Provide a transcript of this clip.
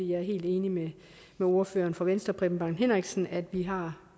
jeg er helt enig med ordføreren fra venstre herre preben bang henriksen i at vi har